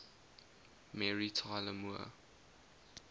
mary tyler moore